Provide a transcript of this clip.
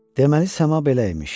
Deməli səma belə imiş.